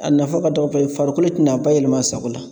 A nafa ka dɔgɔ farikolo tɛna bayɛlɛma a sago la